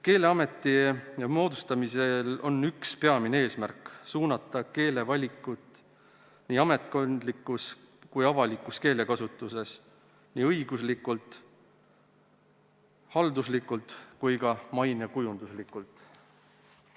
Keeleameti moodustamisel on üks peamine eesmärk: suunata keele valikut nii ametkondlikus kui ka avalikus keelekasutuses, nii õiguslikult, halduslikult kui ka mainekujunduslikult.